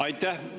Aitäh!